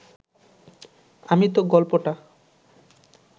আমি তো গল্পটা